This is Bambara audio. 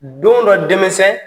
Don dɔ denmisɛn.